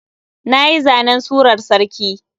Nayi zanen surar sarki.